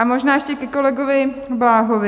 A možná ještě ke kolegovi Bláhovi.